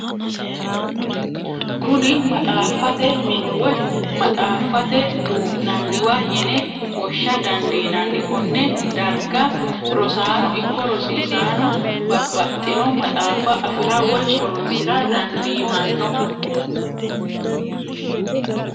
Kuni maxxaaffatte mine woyi maxxaaffatte duu'naniwa yinne wosha dandinanni, kone dariga rosaano ikko rosisanno babaxinno maxaaffa afira woyi horonsira danditanno